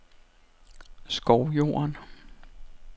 Skovjorden